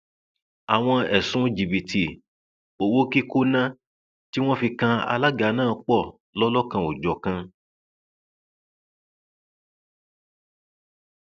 àwọn ẹsùn jìbìtì owó kíkọnà tí wọn fi kan alága náà pọ lọlọkanòjọkan